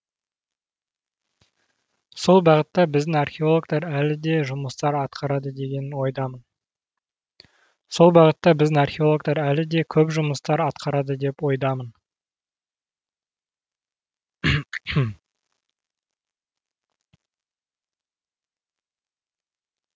сол бағытта біздің археологтар әлі де көп жұмыстар атқарады деген ойдамын